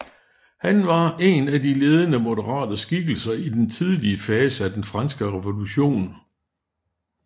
Han var en af de ledende moderate skikkelser i den tidlige fase af den Franske Revolution